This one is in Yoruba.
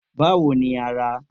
Báwo ni ara?